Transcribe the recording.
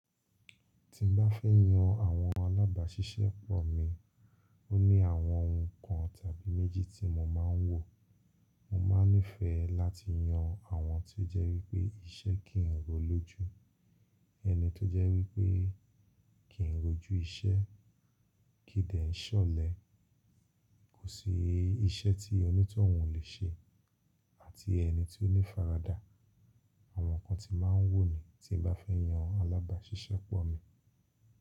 Tí n bá fẹ́ yan àwọn alábàáṣiṣẹ́pọ̀ mi, ó ní àwọn ohun kan tàbí méjì tí mo máa ń wò. Mo máa ń nífẹ̀ẹ́ láti yan àwọn tó jẹ́ wípé iṣẹ́ kì ń ro lójú, ẹni tó jẹ́ wípé kì ń rojú isẹ́, kí dẹ̀ ń ṣọ̀lẹ. Kò sí iṣẹ́ tí onítọ̀hún ò lè ṣe àti ẹni ti ó ní ifáradà. Àwọn nǹkan tí n máa ń wò nii tí n bá fẹ́ yan alábàáṣiṣẹ́pọ̀ mi.